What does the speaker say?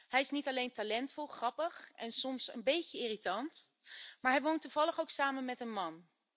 Hij is niet alleen talentvol, grappig en soms een beetje irritant, maar hij woont toevallig ook samen met een man.